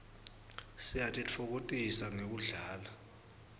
siyatitfokotisa ngekudlala